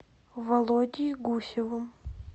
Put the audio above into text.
володей гусевым